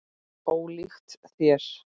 Ólíkt þér.